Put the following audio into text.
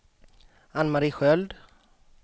Ann-Mari Sköld